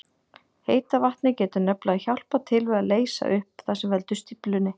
Heita vatnið getur nefnilega hjálpað til við að leysa upp það sem veldur stíflunni.